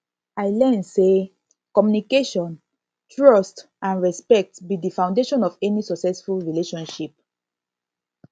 i learn say communication trust and respect be di foundation of any successful relationship